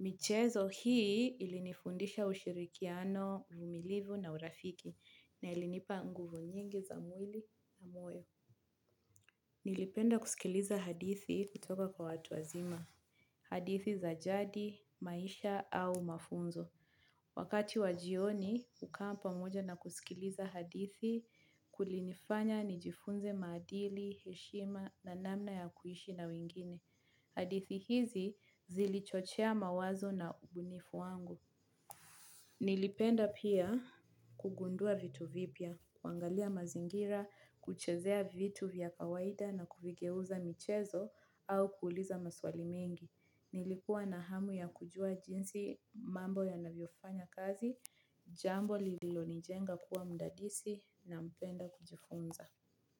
Michezo hii ilinifundisha ushirikiano, uvumilivu na urafiki na ilinipa nguvu nyingi za mwili na moyo. Nilipenda kusikiliza hadithi kutoka kwa watu wazima. Hadithi za jadi, maisha au mafunzo. Wakati wa jioni hucome pamoja na kusikiliza hadithi kulinifanya nijifunze maadili, heshima na namna ya kuishi na wengine. Hadithi hizi, zilichochea mawazo na ubunifu wangu. Nilipenda pia kugundua vitu vipya, kuangalia mazingira, kuchezea vitu vya kawaida na kuvigeuza, michezo au kuuliza maswali mengi. Nilikuwa na hamu ya kujua jinsi mambo yanavyofanya kazi, jambo lililonijenga kuwa mdadisi na mpenda kujifunza.